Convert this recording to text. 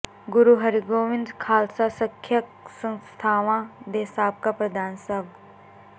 ਗੁਰੂ ਹਰਿਗੋਬਿੰਦ ਖ਼ਾਲਸਾ ਸਿੱਖਿਅਕ ਸੰਸਥਾਵਾਂ ਦੇ ਸਾਬਕਾ ਪ੍ਰਧਾਨ ਸਵ